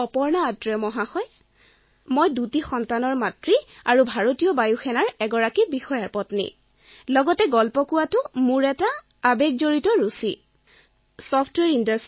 মই অপৰ্ণা আথ্ৰেয় মই দুটা সন্তানৰ মাক এজন ভাৰতীয় বায়ু সেনা বিষয়াৰ পত্নী আৰু এগৰাকী উৎসাহী ষ্টৰীটেলাৰ